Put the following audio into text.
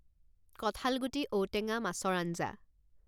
কঠালগুটি, ঔটেঙা, মাছৰ আঞ্জা